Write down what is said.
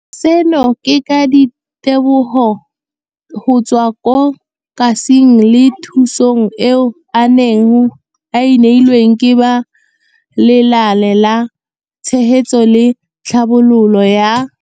Seno ke ka ditebogo go tswa mo katisong le thu song eo a e neilweng ke ba Lenaane la Tshegetso le Tlhabololo ya.